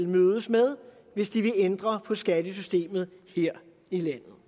mødes med hvis de vil ændre på skattesystemet her i landet